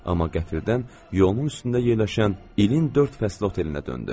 Amma qəfildən yolunun üstündə yerləşən İlin dörd fəsli otelinə döndü.